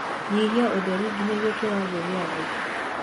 nyĩhĩa ũtherĩ ginyagia kĩwango gia thii